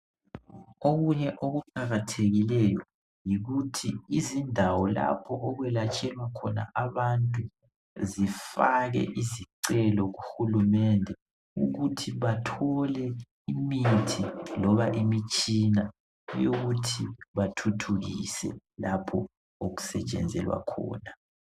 Okunye okuqakathekileyo yikuthi izindawo lapho okwelatshelwa khona abantu zifake isicelo kuhulumende ukuthi bathole imithi loba imitshina yokuthi bathuthukise lapho okusetshenzelwa khona.